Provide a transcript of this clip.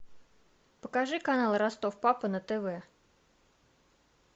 покажи канал ростов папа на тв